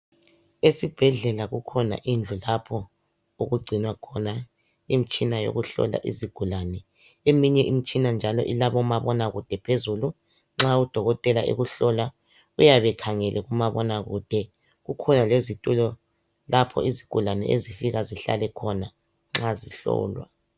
Esibhedlela kukhona indlu lapho okugcinwa khona imitshina yokuhlola izigulane eminye imitshina njalo ilabomabonakude phezulu. Nxa udokotela ekuhlola uyabe ekhangele kumabonakude. Kukhona lezitulo lapho izigulane ezifika zihlale khona nxa zihlolwa.